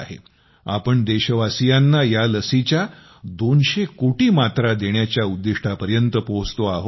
आपण देशवासियांना या लसीच्या 200 कोटी मात्रा देण्याच्या उद्दिष्टापर्यंत पोहोचतो आहोत